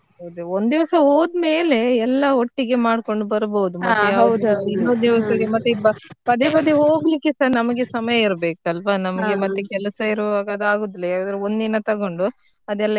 ಹೌದು ಒಂದ್ ದಿವಸ ಹೋದ್ ಮೇಲೆ ಎಲ್ಲ ಒಟ್ಟಿಗೆ ಮಾಡ್ಕೊಂಡ್ ಬರ್ಬಹುದು ಇನ್ನೊಂದಿನ ಮತ್ತೆ ಪದೇ ಪದೇ ಹೋಗ್ಲಿಕ್ಕೆ ಸಾ ನಮ್ಗೆ ಸಮಯ ಇರ್ಬೇಕು ಅಲ್ವಾ ನಮ್ಗೆ ಮತ್ತೆ ಕೆಲಸ ಇರುವಾಗ ಅದು ಆಗೋದಿಲ್ಲ ಯಾವದಾದ್ರು ಒಂದ್ ದಿನ ತಗೊಂಡು ಅದೆಲ್ಲಾ.